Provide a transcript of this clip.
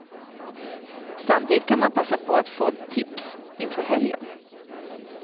Samtidigt kan man passa på att få tips inför helgen.